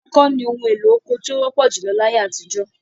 Ọkọ́ ni ohun-èlo oko tí ó wọ́pọ̀ júlọ láyé àtijọ́.